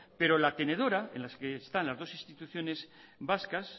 pero la tenedora en la que están las dos instituciones vascas